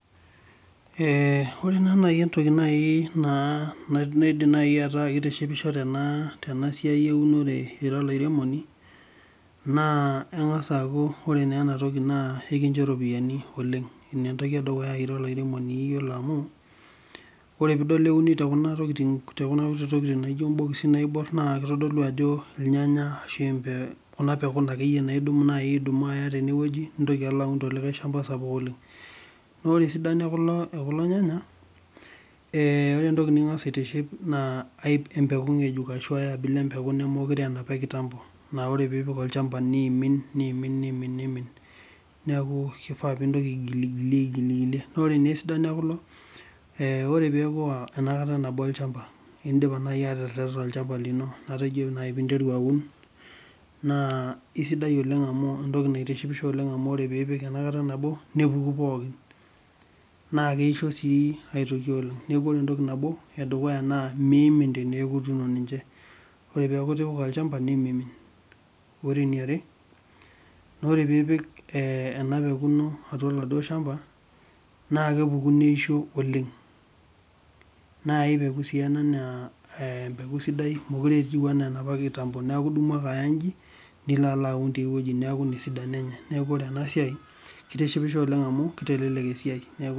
Ore naaji entoki naa naidim ata keitishipisho tenasiai eunore ira olairemoni, naa engas aaku ore naa entoki naa enkijo ropiyiani oleng. Ina entoki edukuya iyiolo amu, ore pee euni tenkuna kuti tokiting naijo mbokisi naa kitodolu irnyanya ashu Kuna pekun akeyie naaji naa idumu aya teneweji nintoki alo aun telikae shampa sapuk oleng. Naa ore esidano ekulo nyanya ,naa ore entoki nikingas aitiship naa empeku ngejuk ashu ai abila nemeokure aa enapa ekitampo. Naa ore pee ipik olchampa neimin neeku kifaa pee intoki aigilie naa ore naa esidano ekulo, ore pee epuo enakata nabo olchampa tinnindip naaji ateretena olchampa lino metaa ijo naaji pee interu aun, naa isidan oleng amu entoki naitishipisho oleng amu ore pee ipik enakata nabo nepuku pookin naa keissho sii aitoki oleng. Neeku ore nabo entoki edukuya naa meimin teneeku ituuno ninche, ore pee eku itipa olchampa nemimin. Ore eniare ,naa ore pee ipik ena peku ino atua oladuo shampa, naa kepuku neisho oleng. Naa ai peku sii ena naa empeku sidai mookure etiu enaa enapa ekitambo .Neeku idumu ake alo aya inji nilo alo aun tiae weji. Neeku ore ena siai keitishipisho oleng amu kitelelek esiai.